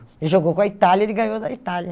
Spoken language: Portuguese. Ele jogou com a Itália, ele ganhou da Itália.